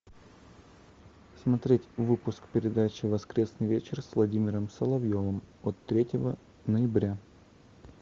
смотреть выпуск передачи воскресный вечер с владимиром соловьевым от третьего ноября